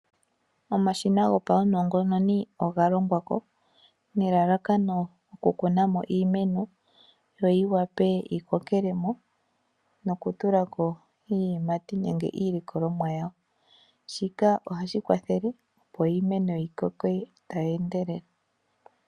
Omashina gopaunongononi oga longwa ko nelalakano okukuna mo iimeno yo yivule yi kokele mo nokutula ko iiyimati nenge iilikolomwa yawo. Shika ohashi kwathele opo iimeno yi koke tayi endelele.